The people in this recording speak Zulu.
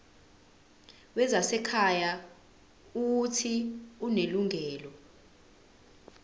wezasekhaya uuthi unelungelo